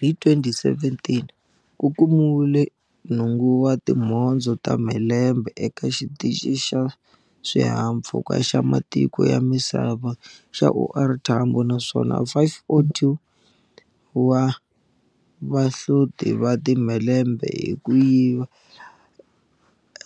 Hi 2017, ku kumiwile nhungu wa timhondzo ta timhelembe eka Xitichini xa Swihahampfhuka xa Ma tiko ya Misava xa OR Tambo naswona 502 wa vahloti va ti mhelembe hi ku yiva